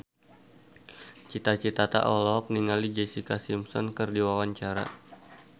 Cita Citata olohok ningali Jessica Simpson keur diwawancara